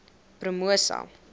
promosa